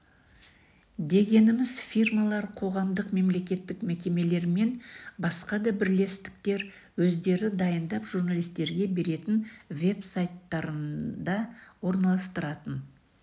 дегеніміз фирмалар қоғамдық мемлекеттік мекемелер мен басқа да бірлестіктер өздері дайындап журналистерге беретін веб-сайттарында орналастыратын